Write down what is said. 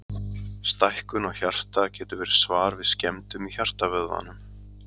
stækkun á hjarta getur verið svar við skemmdum í hjartavöðvanum